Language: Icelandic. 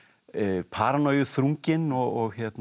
paranojuþrunginn og